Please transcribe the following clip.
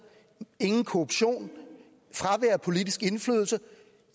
ingen korruption fravær af politisk indflydelse